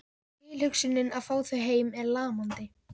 Tilhugsunin að fá þau heim er lamandi.